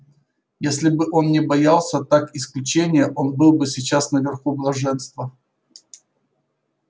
если бы он не боялся так исключения он был бы сейчас наверху блаженства